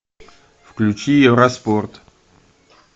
включи евроспорт